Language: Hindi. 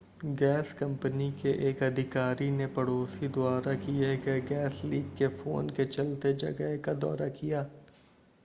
गैस कंपनी के एक अधिकारी ने पड़ोसी द्वारा किए गए गैस लीक के फ़ोन के चलते जगह का दौरा किया